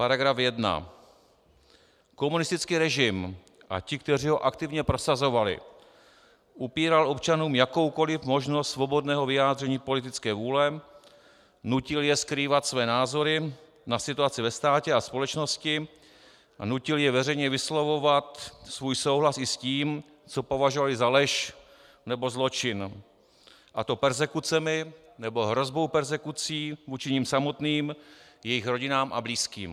"Paragraf 1. Komunistický režim a ti, kteří ho aktivně prosazovali, upíral občanům jakoukoliv možnost svobodného vyjádření politické vůle, nutil je skrývat své názory na situaci ve státě a společnosti a nutil je veřejně vyslovovat svůj souhlas i s tím, co považovali za lež nebo zločin, a to perzekucemi nebo hrozbou perzekucí vůči nim samotným, jejich rodinám a blízkým.